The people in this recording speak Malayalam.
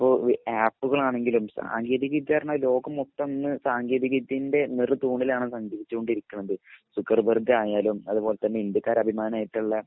ഇനീപ്പോ ആപ്പുകളാണെങ്കിലും സാങ്കേതിക വിദ്യ എന്ന് പറഞ്ഞാൽ ലോകം മൊത്തം സാങ്കേതിക വിദ്യൻ്റെ നിറുത്തൂണിൽ ആണ് സഞ്ചരിച്ചോണ്ടിരിക്കുന്നത് സുക്കർബർഗ് ആയാലും അതേപോലെ ഇന്ത്യക്കാരെ അഭിമാനം ആയിട്ടുള്ള